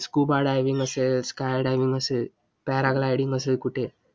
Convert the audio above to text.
scuba diving असेल, sky diving असेल, paragliding असेल कुठे